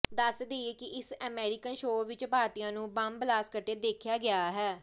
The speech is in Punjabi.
ਦੱਸ ਦੇਈਏ ਕਿ ਇਸ ਅਮੈਰੀਕਨ ਸ਼ੋਅ ਵਿੱਚ ਭਾਰਤੀਆਂ ਨੂੰ ਬਮ ਬਲਾਸਟ ਕਰਦੇ ਦਿਖਾਇਆ ਗਿਆ ਹੈ